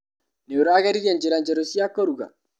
Nĩũrageririe njĩra njerũ cia kũruga?